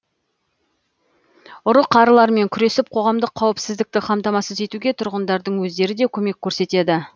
ұры қарылармен күресіп қоғамдық қауіпсіздікті қамтамасыз етуге тұрғындардың өздері де көмек көрсетеді